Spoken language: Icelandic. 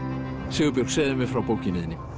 Sigurbjörg segðu mér frá bókinni þinni